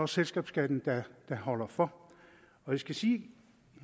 selskabsskatten der holder for jeg skal sige